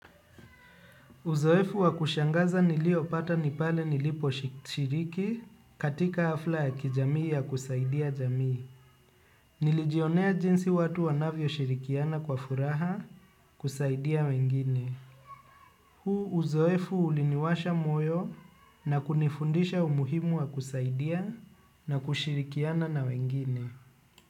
Uzoefu wa kushangaza nilio pata ni pale nilipo shiriki katika hafla ya kijamii ya kusaidia jamii. Nilijionea jinsi watu wanavyo shirikiana kwa furaha kusaidia wengine. Huu uzoefu uliniwasha moyo na kunifundisha umuhimu wa kusaidia na kushirikiana na wengine.